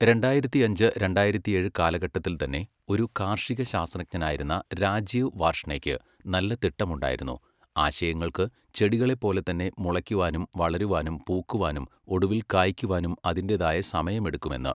രണ്ടായിരത്തിയഞ്ച്, രണ്ടായിരത്തിയേഴ് കാലഘട്ടത്തിൽത്തന്നെ, ഒരു കാർഷികശാസ്ത്രജ്ഞനായിരുന്ന രാജീവ് വാർഷ്ണേക്ക് നല്ല തിട്ടമുണ്ടായിരുന്നു, ആശയങ്ങൾക്ക്, ചെടികളെപ്പോലെ തന്നെ, മുളയ്ക്കുവാനും വളരുവാനും പൂക്കുവാനും ഒടുവിൽ കായ്ക്കുവാനും അതിൻ്റെതായ സമയമെടുക്കുമെന്ന്.